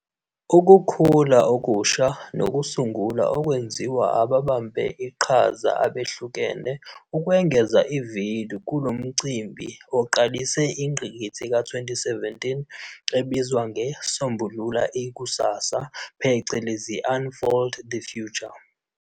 Ukukhula okusha nokusungula okwenziwa ababambe iqhaza abehlukene ukungeza ivelu kulo mcimbi eqalise ingqikithi ka-2017 ebizwa nge'Sombulula ikusasa', phecelezi 'Unfold the future'.